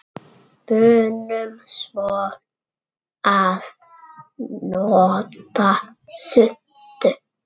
Munum svo að nota svuntu.